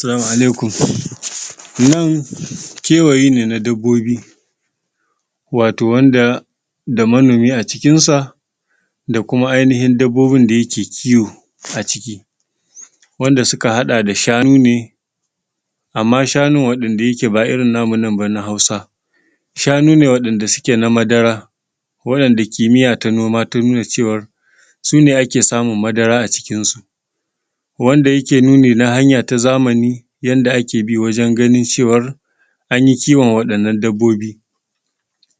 Salamu alaikum, nan kewaye ne na dabbobi wato wanda, da manomi acikin sa da kuma ainihin dabbobin da yake kiwo aciki wanda suka haɗa da shanu ne amma shanu wanda yake ba irin namu ba na nan na hausa shanu ne wayanda suke na madara wa yanda kimiya ta noma ta nuna cewar sune ake samun madara acikin su wanda yake nuni na hanya ta zamani yanda ake bi wajan ganin cewan an yi kiwon wayannan dabbobi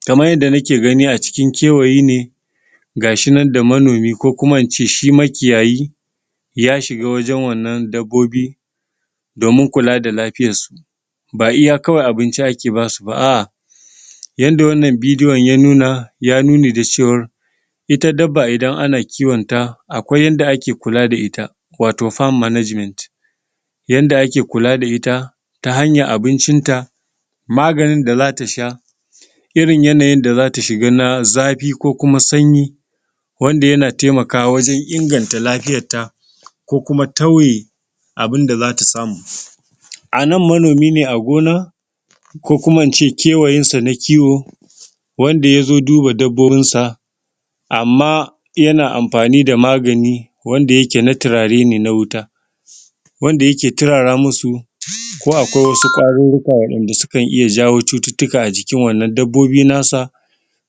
kaman yanda nake ganin acikin kewayi ne ga shinan da monomi ko kuma ince shi makiyayi ya shiga wajan wannan dabbobi do mun kula da lafiyan su ba iya kawai abinci ake basuba a'a yanda wannan bidion ya nuna yayi nuni da cewar ita dabba idan ana kiwonta akwai yanda ake kula da ita wato farm management yanda ake kula da ita ta hayan abincinta maganin da za tasha irin yanayin da zata shiga na zafi ko kuma sanyi wanda yana temakawa wajan inganta lafiyanta ko kuma tauye abinda zata samu anan manomi ne a gona ko kuma ince kewayinsa na kiwo wanda yazo duba dabbobinsa amma yana amfani da magani wanda yake na tirare ne na wuta wanda yake turara musu ko akwai wasu ƙwa rurruka wanda sukan iya jawo cututtuka acikin wannan dabbobi nasa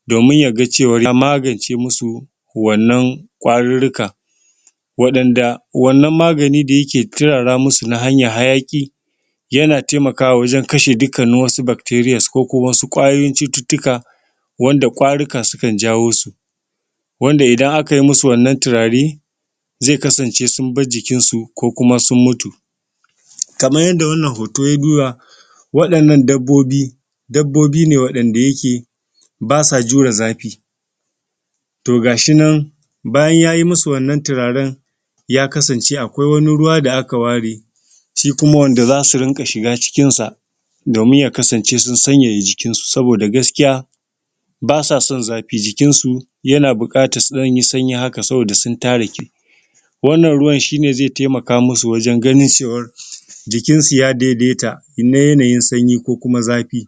domin yaga cewan ya magan ce musu wannan ƙwa rurruka wa ɗan da wannan magani da yake turara musu na hanyan hayaki yana temakawa wajan kashe dukkanin wasu bacterials ko kuma wasu ƙwayoyin cututtuka wanda ƙwaruka sunkan jawo su wanda idan akai musu wannan turare zeka kasance sun bar jikinsu ko kuma sun mutun kaman yanda wannan hoto ya nuna wa ɗannan dabbobi dabbobi ne wa ɗan da yake basa jure zafi to ga shinan bayan yayi musu wannan turaran ya kasance akwai wani ruwa da aka ware shi kuma wanda zasu rinƙa shiga cikin sa domin ya kasance su sanyaya jikinsu saboda gaskiya basa san zafi jikinsu yana buƙatan sanyi sanyi haka saboda su tarike wannan ruwan shine ze temaka musu wajan ganin cewar jikinsu ya daidai ta na yanayin sanyi ko kuma zafi